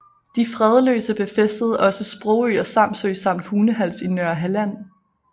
De fredløse befæstede også Sprogø og Samsø samt Hunehals i Nørrehalland